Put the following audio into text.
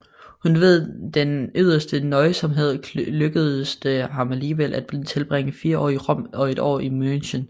Kun ved den yderste nøjsomhed lykkedes det ham alligevel at tilbringe fire år i Rom og et år i München